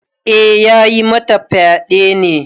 Eh ya yi mata fyaɗe ne.